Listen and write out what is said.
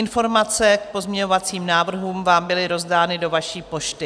Informace k pozměňovacím návrhům vám byly rozdány do vaší pošty.